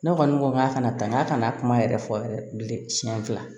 Ne kɔni ko k'a kana taa n k'a kana kuma yɛrɛ fɔ yɛrɛ bilen siɲɛ fila